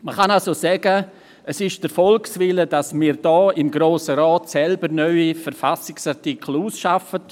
Man kann also sagen, es entspricht dem Volkswillen, dass wir hier im Grossen Rat selber neue Verfassungsartikel ausarbeiten.